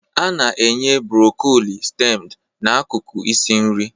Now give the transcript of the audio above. A na-enye broccoli steamed n'akụkụ isi nri